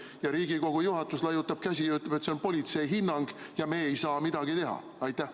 Ja Riigikogu juhatus laiutab käsi ja ütleb, et see on politsei hinnang ja me ei saa midagi teha?